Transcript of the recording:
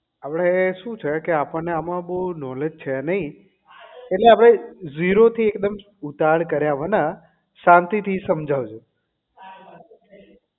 આપણે શું છે કે આપણને આમાં બહુ knowledge છે નહીં એટલે આપણે zero થી એકદમ ઉતાવળ કર્યા વિના શાંતિ થી સમજાવજે